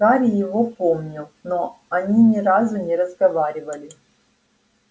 гарри его помнил но они ни разу не разговаривали